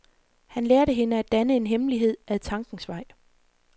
Han lærte hende at danne en hemmelighed, ad tankens vej.